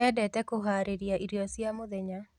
Endete kũharĩria irio cia mũthenya.